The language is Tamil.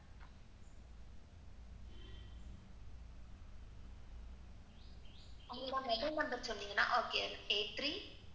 உங்க mobile number சொல்றிங்களா okay eight three,